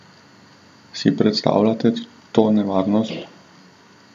Si predstavljate to nevarnost?